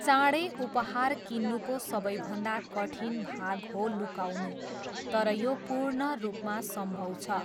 चाँडै उपहार किन्नुको सबैभन्दा कठिन भाग हो लुकाउनु, तर यो पूर्ण रूपमा सम्भव छ।